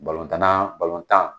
Balontanna balontan